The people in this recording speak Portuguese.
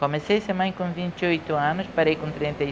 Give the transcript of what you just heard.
Comecei a ser mãe com vinte e oito anos, parei com trinta e